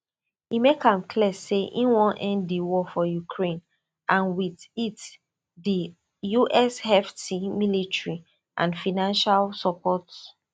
e make am clear say e wan end di war for ukraine and wit it di us hefty military and financial support